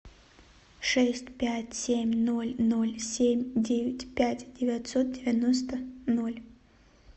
шесть пять семь ноль ноль семь девять пять девятьсот девяносто ноль